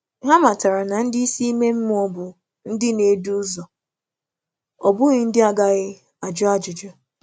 Hà mátàrà na ndị isi ime mmụọ bụ ndị na-edù ụzọ, ọ bụghị ndị a gaghị um ajụ ajụjụ.